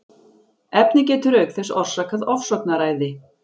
Efnið getur auk þessa orsakað ofsóknaræði.